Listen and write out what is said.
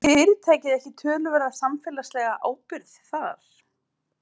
Hefur fyrirtækið ekki töluverða samfélagslega ábyrgð þar?